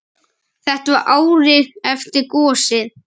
Þetta var árið eftir gosið.